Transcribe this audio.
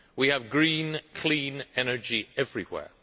We have green, clean energy everywhere.